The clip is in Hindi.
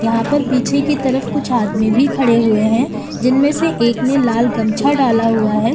यहां पर पीछे की तरफ कुछ आदमी भी खड़े हुए हैं जिनमें से एक ने लाल गमछा डाला हुआ है।